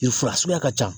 U fura suguya ka ca